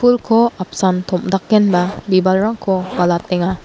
pulko apsan tom·dakenba bibalrangko balatenga.